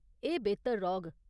एह् बेह्तर रौह्ग।